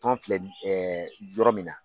Tɔn filɛ nin yɔrɔ min na.